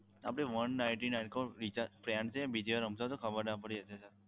આપણે one ninety nine કરો recharge પ્રેમથી બીજી વાર સમજાવો તો ખબર ના પડી એટલે sir